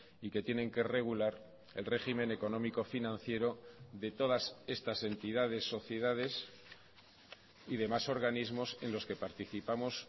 y que tienen que regular el régimen económico financiero de todas estas entidades sociedades y de más organismos en los que participamos